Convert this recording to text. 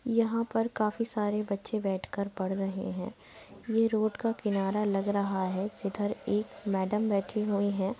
यहां पर काफी सारे बच्चे बैठ कर पढ़ रहे है। ये रोड का किनारा लग रहा है। जिधर एक मैडम बैठी हुई हैं।